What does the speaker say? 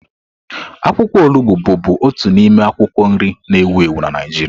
Akwụkwọ olugbo bụbu otu n'ime akwụkwọ nri na ewu ewu na Naịjirịa.